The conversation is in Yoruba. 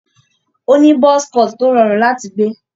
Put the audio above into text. Ó ní buzz cut tó rọrùn láti gbé.